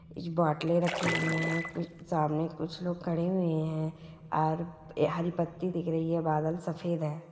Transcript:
एक बोटले रखी हुई है कु सामने कुछ लोग खड़े हुए है आर हरी पत्ती दिख रही है बादल सफेद है।